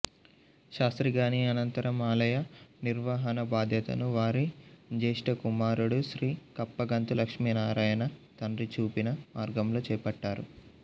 శాస్త్రిగారి అనంతరం ఆలయ నిర్వాహణాబాధ్యతను వారి జ్యేష్ఠకుమారుడు శ్రీ కప్పగంతు లక్ష్మీనారాయణ తండ్రి చూపిన మార్గంలో చేపట్టారు